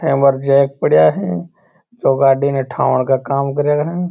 यहाँ पर एक जैक पड़ा है जो गाडी में ढाण का काम करे है।